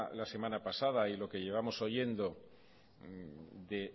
la semana pasada y lo que llevamos oyendo de